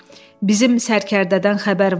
Bizim sərkərdədən xəbər varmı?